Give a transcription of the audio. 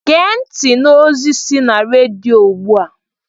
Gee ntị n'ozi si na rediyo ugbu a!